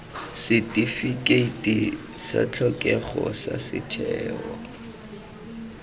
setifikeiti sa tlhokego sa setheo